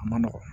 A man nɔgɔn